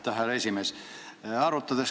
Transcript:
Aitäh, härra esimees!